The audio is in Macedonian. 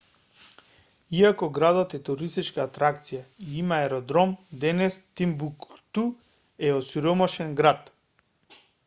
иако градот е туристичка атракција и има аеродром денес тимбукту е осиромашен град